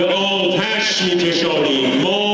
Bu atəşə kişisən.